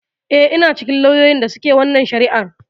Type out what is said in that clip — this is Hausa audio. Eh, ina cikin lauyoyin da suke wannan shari'ar.